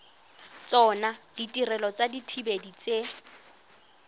tsona ditirelo tsa dithibedi tse